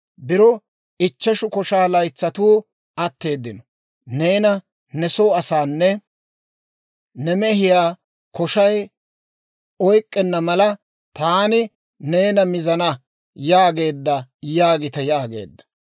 Biro ichcheshu koshaa laytsatuu atteeddino; neena, ne soo asaanne ne mehiyaa koshay oyk'k'enna mala, taani neena mizana» yaageedda› yaagite» yaageedda.